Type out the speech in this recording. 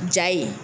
Ja ye